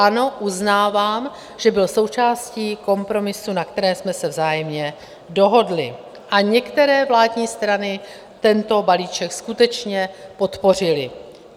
Ano, uznávám, že byl součástí kompromisů, na kterých jsme se vzájemně dohodli, a některé vládní strany tento balíček skutečně podpořily.